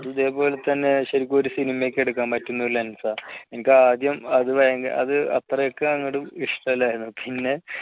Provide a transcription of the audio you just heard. അതേപോലെതന്നെ ശരിക്കും ഒരു സിനിമയൊക്കെ എടുക്കാൻ പറ്റുന്ന lense ആ എനിക്ക്ആദ്യം അത് ഭയങ്കര അത് അത്രയ്ക്ക് അങ്ങോട്ട് ഇഷ്ടമല്ലായിരുന്നു പിന്നെ